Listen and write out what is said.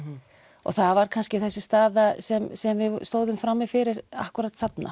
og það var kannski þessi staða sem sem við stóðum frammi fyrir akkúrat þarna